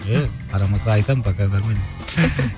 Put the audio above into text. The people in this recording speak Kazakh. еее қарамаса айтамын пока нормально